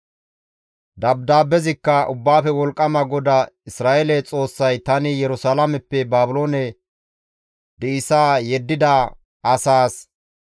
Dabdaabbezikka, «Ubbaafe Wolqqama GODAA Isra7eele Xoossay tani Yerusalaameppe Baabiloone di7isa yeddida asaas,